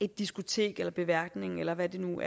diskotek beværtning eller hvad vi nu